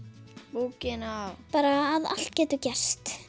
bókina bara að allt getur gerst